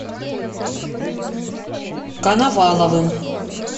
коноваловым